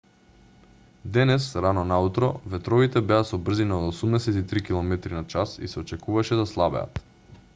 денес рано наутро ветровите беа со брзина од 83 km/h и се очекуваше да слабеат